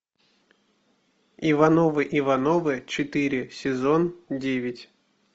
ивановы ивановы четыре сезон девять